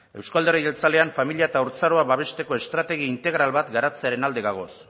euzko alderdi jeltzalean familia eta haurtzaroa babesteko estrategi integral bat garantzearen alde gaude